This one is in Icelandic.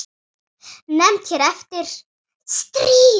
Nefnd hér eftir: Stríð.